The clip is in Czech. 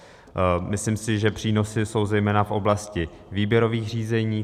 Myslím si, že přínosy jsou zejména v oblasti výběrových řízení.